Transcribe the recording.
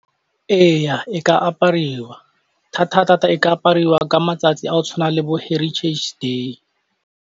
Eya e ka apariwa, thata-thata e ka apariwa ka matsatsi a o tshwana le bo heritage day.